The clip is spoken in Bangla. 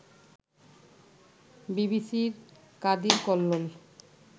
বিবিসির কাদির কল্লোল